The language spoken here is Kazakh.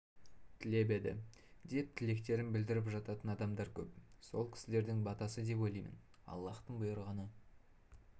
тілеп еді деп тілектерін білдіріп жататын адамдар көп сол кісілердің батасы деп ойлаймын аллаһтың бұйрығы